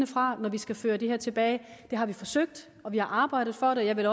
fra når vi skal føre det her tilbage det har vi forsøgt og vi har arbejdet for det jeg vil